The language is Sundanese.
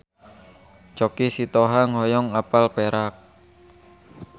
Choky Sitohang hoyong apal Perak